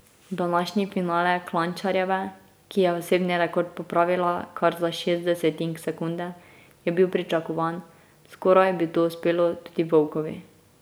Današnji finale Klančarjeve, ki je osebni rekord popravila kar za šest desetink sekunde, je bil pričakovan, skoraj bi to uspelo tudi Vovkovi.